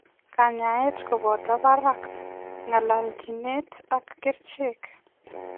Kanyaet kopotoo paraak ,ngalalchineet ak kerichek.